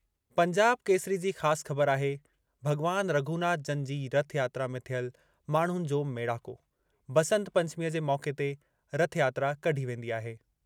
पंजाब केसरी जी ख़ासि ख़बर आहे- भॻवान रघुनाथ जनि जी रथयात्रा में थियल माण्हुनि जो मेड़ाको- बंसत पंचमीअ जे मौक़े ते रथयात्रा कढी वेंदी आहे।